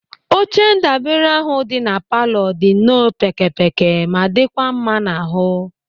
Oche ndabere ahụ dị na palọ dị nọọ pékėpékė ma dịkwa mma n'ahụ.